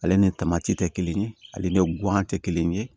Ale ni tamati tɛ kelen ye ale ni guwan tɛ kelen ye